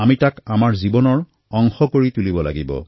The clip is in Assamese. আমি তাক নিজৰ জীৱনৰ অংশ কৰিব লাগিব